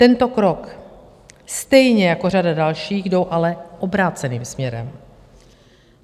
Tento krok stejně jako řada dalších jdou ale obráceným směrem.